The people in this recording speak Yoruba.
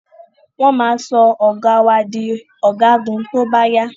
Wọn ma sọ ọ̀gá wà di ọ̀gágun tóbá yá